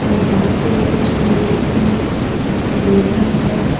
और यहां पे कुछ ट्रीस भी दिखाई दे रहा है।